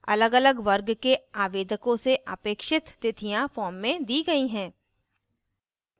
अलगअलग वर्ग के आवेदकों से अपेक्षित तिथियाँ form में the गयी हैं